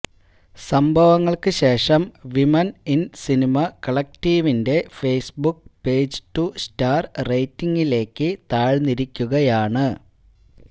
സംഭവങ്ങള്ക്ക് ശേഷം women in cinema കളക്ടീവിന്റെ Facebook page two star റേറ്റിങ്ങിലേക്ക് താഴ്ന്നിരിക്കുകയാണ്